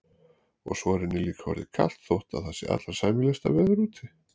Og svo er henni líka orðið kalt þótt það sé allra sæmilegasta veður úti.